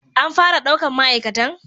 An fara ɗaukan ma'aikatan